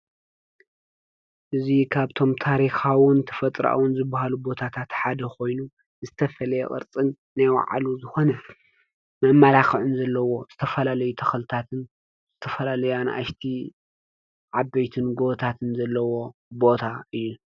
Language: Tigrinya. እዙይ ኻብቶም ታሪኻውን ትፈጥራአውን ዝብሃሉ ቦታታተሓደ ኾይኑ፤ ዝተፈልየ ቕርጽን ነይውዓሉ ዝኾነ መብማላኽዕን ዘለዎ ዝተፈላለይ ተኸልታትን ዘተፈላለያን ኣንሽቲ ዓበይትን ጐወታትን ዘለዎ ቦታ እየ።